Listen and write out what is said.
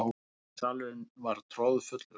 Salurinn var troðfullur.